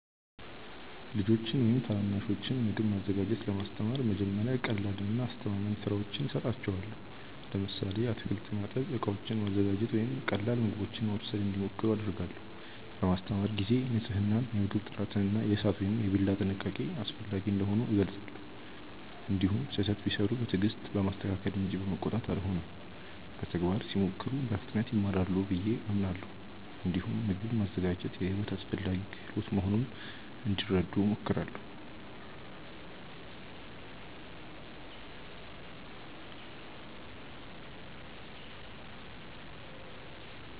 ልጆችን ወይም ታናናሾችን ምግብ ማዘጋጀት ለማስተማር መጀመሪያ ቀላልና አስተማማኝ ሥራዎችን እሰጣቸዋለሁ። ለምሳሌ አትክልት ማጠብ፣ ዕቃዎችን ማዘጋጀት ወይም ቀላል ምግቦችን ማብሰል እንዲሞክሩ አደርጋለሁ። በማስተማር ጊዜ ንፅህናን፣ የምግብ ጥራትን እና የእሳት ወይም የቢላ ጥንቃቄን አስፈላጊ እንደሆኑ እገልጻለሁ። እንዲሁም ስህተት ቢሠሩ በትዕግስት በማስተካከል እንጂ በመቆጣት አልሆንም። በተግባር ሲሞክሩ በፍጥነት ይማራሉ ብዬ አምናለሁ። እንዲሁም ምግብ ማዘጋጀት የሕይወት አስፈላጊ ክህሎት መሆኑን እንዲረዱ እሞክራለሁ።